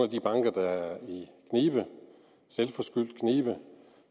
de banker der er i knibe selvforskyldt knibe